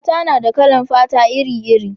mata na da kalan fata iri iri